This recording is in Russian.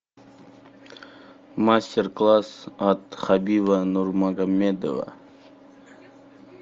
мастер класс от хабиба нурмагомедова